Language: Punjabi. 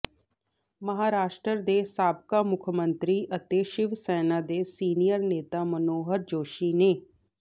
ਮਹਾਰਾਸ਼ਟਰ ਦੇ ਸਾਬਕਾ ਮੁੱਖ ਮੰਤਰੀ ਅਤੇ ਸ਼ਿਵ ਸੈਨਾ ਦੇ ਸੀਨੀਅਰ ਨੇਤਾ ਮਨੋਹਰ ਜੋਸ਼ੀ ਨੇ